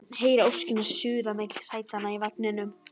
Heyri óskina suða milli sætanna í vagninum